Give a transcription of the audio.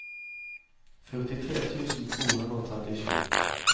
førtitre tusen to hundre og trettisju